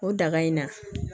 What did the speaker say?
O daga in na